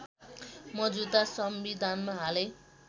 मौजूदा संविधानमा हालै